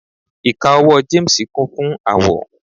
ika owó James Kun fún awọ